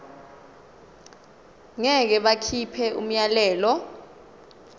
ngeke bakhipha umyalelo